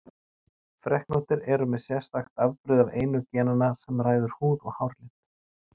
Freknóttir eru með sérstakt afbrigði af einu genanna sem ræður húð- og hárlit.